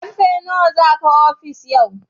Ƙarfe nawa za ka je ofis yau?